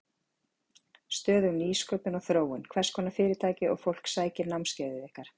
Stöðug nýsköpun og þróun Hverskonar fyrirtæki og fólk sækir námskeiðið ykkar?